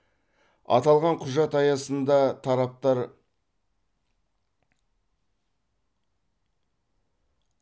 аталған құжат аясында тараптар